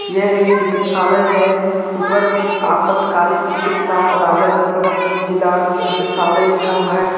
यह एक चिकित्सालय है ऊपर में एक आपातकालीन चिकित्सीय राजा देव सरन जिला चिकित्सालय लिखा हुआ है।